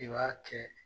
I b'a kɛ